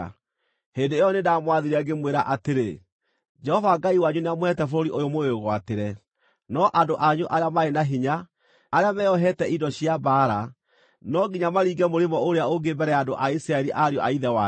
Hĩndĩ ĩyo nĩndamwathire ngĩmwĩra atĩrĩ, “Jehova Ngai wanyu nĩamũheete bũrũri ũyũ mũwĩgwatĩre. No andũ anyu arĩa marĩ na hinya, arĩa meeohete indo cia mbaara, no nginya maringe mũrĩmo ũrĩa ũngĩ mbere ya andũ a Isiraeli ariũ a ithe wanyu.